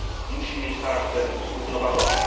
Musi mieć charakter zrównoważony.